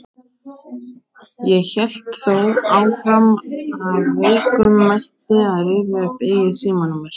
Ég hélt þó áfram af veikum mætti að rifja upp eigið símanúmer.